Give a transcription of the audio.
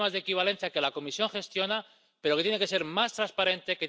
Sistemas de equivalencia que la Comisión gestiona pero que tienen que ser más transparentes